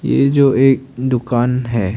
ये जो एक दुकान है।